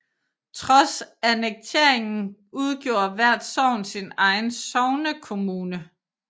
Trods annekteringen udgjorde hvert sogn sin egen sognekommune